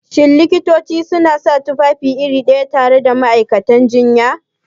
Shin Likitoci suna sa tufafi iri ɗaya tare da ma'aikatan jinya?